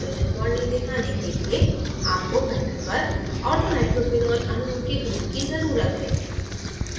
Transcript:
hydrogen bonding दिखाने के लिए आपको panel पर orthonitrophenol अणुओं के group की ज़रुरत है